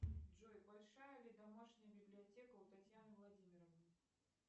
джой большая ли домашняя библиотека у татьяны владимировны